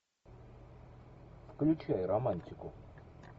включай романтику